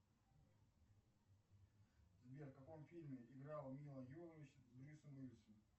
сбер в каком фильме играла мила йовович с брюсом уиллисом